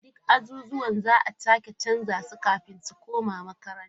Duk ajujuwan za a sake canza su kafin su koma makaranta.